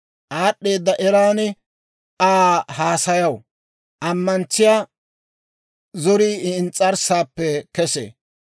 Aad'd'eeda eran Aa haasayaw; ammantsiyaa zorii I ins's'arssaappe kesee.